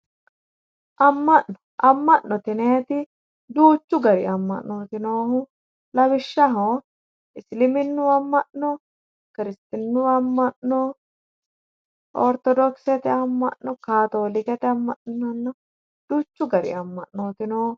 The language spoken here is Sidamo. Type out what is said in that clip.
Ama'note yinnanniti duuchu gari ama'noti noohu lawishshaho isliminu ama'no kirstinu ama'no, orthodokosete ama'no, katolikkete ama'no yinanna, duuchu gari ama'noti noohu.